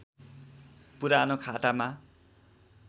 पुरानो खातामा